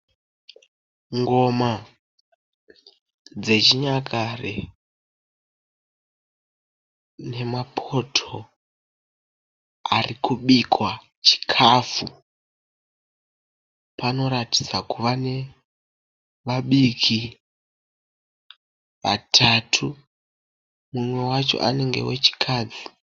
Ngoma dzechinyakare nemapoto ari kubikwa chikafu panoratidza kuva nevabiki vatatu. Umwe wacho anenge wechikadzi.